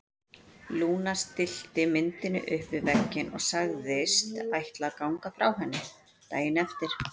Lúna stillti myndinni upp við vegginn og sagðist ætla að ganga frá henni daginn eftir.